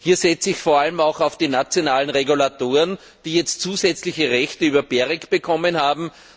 Hier setze ich vor allem auch auf die nationalen Regulatoren, die jetzt zusätzliche Rechte über GEREK bekommen haben.